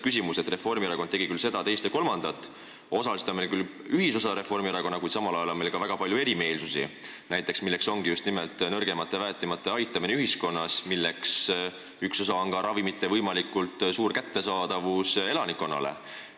Reformierakond tegi seda, teist ja kolmandat ning osaliselt on meil küll nendega ühisosa, kuid samal ajal on meil väga palju erimeelsusi, näiteks nõrgemate ja väetimate aitamine ühiskonnas, mille üks osa on ka ravimite võimalikult suur kättesaadavus elanikkonnale.